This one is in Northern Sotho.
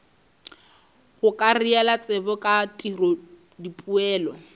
gokarela tsebo ka tiro dipoelo